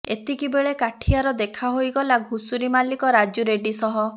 ଏତିକି ବେଳେ କାଠିଆର ଦେଖା ହୋଇଗଲା ଘୁଷୁରୀ ମାଲିକ ରାଜୁ ରେଡ୍ଡି ସହ